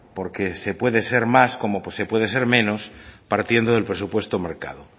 porque se puede ser más como se puede ser menos partiendo del presupuesto marcado